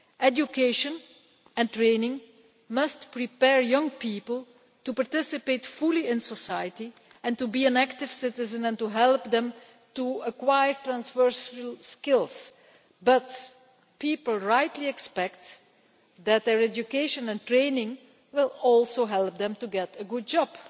Education and training must prepare young people to participate fully in society and to be an active citizen, and help them to acquire transversal skills, but people rightly expect that their education and training will also help them to get a good job.